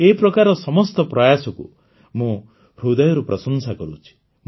ଏ ପ୍ରକାରର ସମସ୍ତ ପ୍ରୟାସକୁ ମୁଁ ହୃଦୟରୁ ପ୍ରଶଂସା କରୁଛି